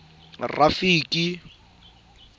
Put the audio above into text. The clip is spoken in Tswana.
rafiki